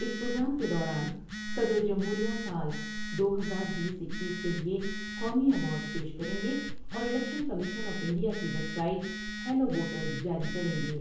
اس programme کے دوران صدر جمہور میں سال دو ہزار بیس ، اکیس کے لئے قومی ایوارڈس پیش کریں گے اور الیکشن کمیشن آف انڈیا کی ویب سائٹ ہیلو ووٹرس جاری کر لیں گے ۔